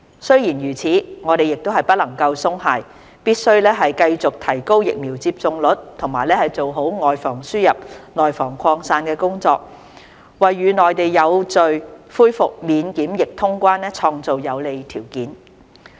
雖然如此，我們不能鬆懈，必須繼續提高疫苗接種率及做好"外防輸入、內防擴散"的工作，為與內地有序恢復免檢疫通關創造有利條件。